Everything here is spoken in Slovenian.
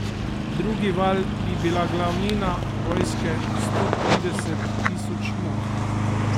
Drugi val bi bila glavnina vojske sto trideset tisoč mož.